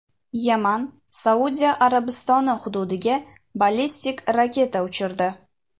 Yaman Saudiya Arabistoni hududiga ballistik raketa uchirdi.